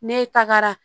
Ne tagara